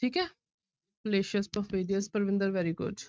ਠੀਕ ਹੈ fallacious, perfidious Parvinder very good